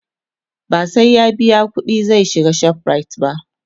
ba sai ya biya ƙuɗi zai shiga ShopRite ba